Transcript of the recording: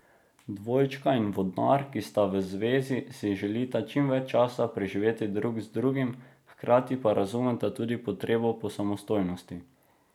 Dvojčka in vodnar, ki sta v zvezi, si želita čim več časa preživeti drug z drugim, hkrati pa razumeta tudi potrebo po samostojnosti.